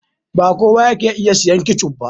Ba kowa yake iya sayen ketchup ba.